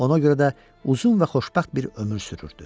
Ona görə də uzun və xoşbəxt bir ömür sürürdü.